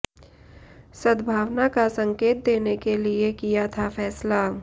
सद्भावना का संकेत देने के लिए किया था फैसला